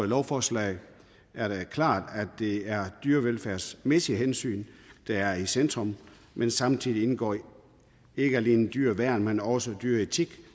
lovforslaget er det klart at det er dyrevelfærdsmæssige hensyn der er i centrum men samtidig indgår ikke alene dyreværn men også dyreetik